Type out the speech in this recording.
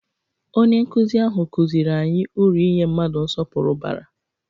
Onye nkuzi ahụ kụziri anyị uru inye mmadụ nsọpụrụ bara.